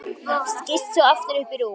Skýst svo aftur upp í rúm.